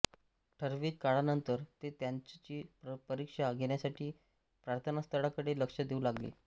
ठरविक काळानंतर ते त्यांचची परिक्षा घेण्यासाठी प्रार्थनास्थळाकडे लक्ष देऊ लागले